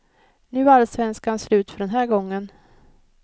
Nu är allsvenskan slut för den här gången.